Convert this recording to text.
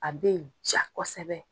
A bɛ ja kosɛbɛ.